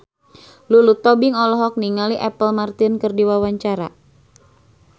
Lulu Tobing olohok ningali Apple Martin keur diwawancara